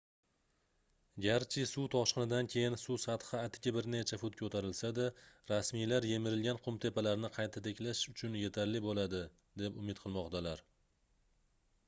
garchi suv toshqinidan keyin suv sathi atigi bir necha fut koʻtarilsa-da rasmiylar yemirilgan qumtepalarni qayta tiklash uchun yetarli boʻladi deb umid qilmoqdalar